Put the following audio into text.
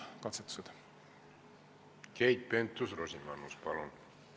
Keit Pentus-Rosimannus, palun!